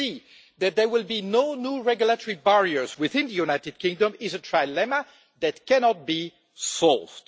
and that there will be no new regulatory barriers within the United Kingdom, is a trilemma that cannot be solved.